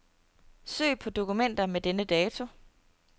Søg på dokumenter med denne dato.